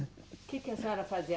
O que que a senhora fazia?